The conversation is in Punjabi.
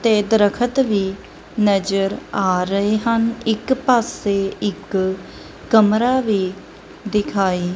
ਤੇ ਦਰਖਤ ਵੀ ਨਜਰ ਆ ਰਹੇ ਹਨ ਇੱਕ ਪਾੱਸੇ ਇੱਕ ਕਮਰਾ ਵੀ ਦਿਖਾਈ--